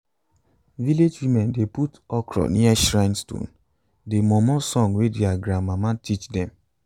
village women dey put okra near shrine stone dey momo song wey their grandmama teach dem.